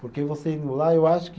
Porque você indo lá, eu acho que.